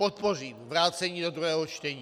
Podpořím vrácení do druhého čtení.